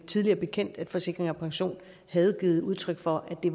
tidligere bekendt at forsikring pension havde givet udtryk for at det